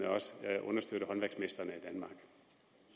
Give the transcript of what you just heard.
også understøtte håndværksmestrene